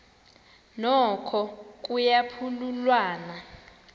noko kuya phululwana